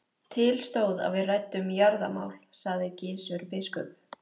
Til stóð að við ræddum jarðamál, sagði Gizur biskup.